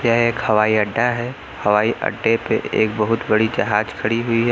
यह एक हवाई अड्डा है हवाई अड्डे पे एक बहुत बड़ी जहाज खड़ी हुई है।